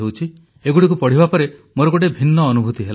ଏଗୁଡ଼ିକୁ ପଢ଼ିବା ପରେ ମୋର ଗୋଟିଏ ଭିନ୍ନ ଅନୁଭୂତି ହେଲା